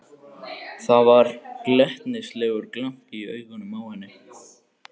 Það var glettnislegur glampi í augunum á henni.